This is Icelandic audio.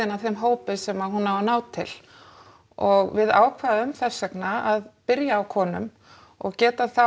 að þeim hópi sem hún á að ná til og við ákváðum þess vegna að byrja á konum og get þá